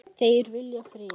Þeir vilja frið.